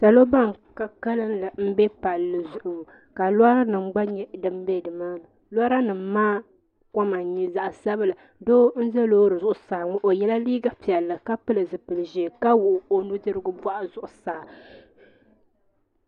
Salo ban ka kalli m be palli zuɣu ka lora nima gba nyɛ ban be nimaani lora nima maa koma n nyɛ zaɣa sabila doo n za loori zuɣusaa ŋɔ o yela liiga piɛlli ka pili zipil'ʒee ka wuɣi o nudirigu boɣu zuɣusaa.